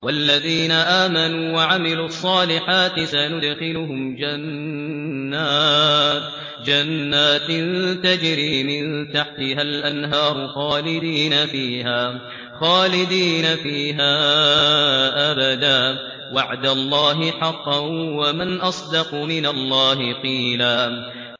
وَالَّذِينَ آمَنُوا وَعَمِلُوا الصَّالِحَاتِ سَنُدْخِلُهُمْ جَنَّاتٍ تَجْرِي مِن تَحْتِهَا الْأَنْهَارُ خَالِدِينَ فِيهَا أَبَدًا ۖ وَعْدَ اللَّهِ حَقًّا ۚ وَمَنْ أَصْدَقُ مِنَ اللَّهِ قِيلًا